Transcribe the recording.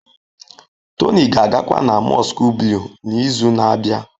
Tony ga-agakwa na Mosque Blue n'izu na-abịa.